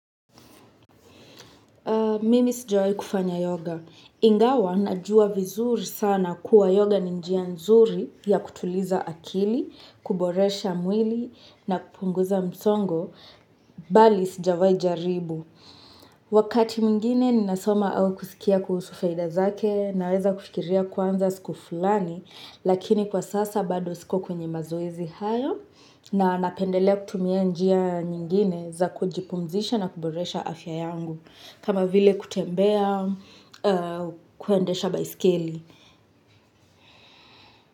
Mimi sijawahi kufanya yoga. Ingawa najua vizuri sana kuwa yoga ni njia nzuri ya kutuliza akili, kuboresha mwili na kupunguza msongo, bali sijawahi jaribu. Wakati mwingine ninasoma au kusikia kuhusu faida zake naweza kufikiria kuanza siku fulani lakini kwa sasa bado siko kwenye mazoezi hayo, na napendelea kutumia njia nyingine za kujipumzisha na kuboresha afya yangu. Kama vile kutembea, ah, kuendesha baiskeli.